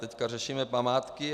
Teď řešíme památky.